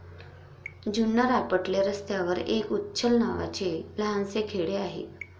जुन्नर आपटले रस्त्यावर एक उच्छल नावाचे लहानसे खेडे आहे.